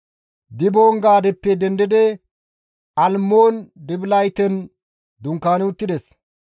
Diboon-Gaadeppe dendidi Almmoon-Dibilatayen dunkaani uttides.